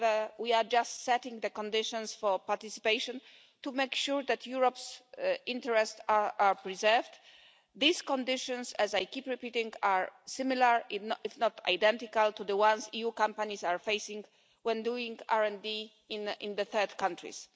however, we are just setting the conditions for participation to make sure that Europe's interests are preserved. These conditions, as I keep repeating, are similar if not identical to the ones EU companies are facing when doing RD in third countries.